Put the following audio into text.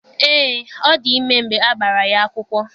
Eé, ọdị ime mgbe a gbara ya akwụkwọ.